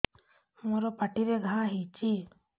ମୋର ପାଟିରେ ଘା ହେଇଚି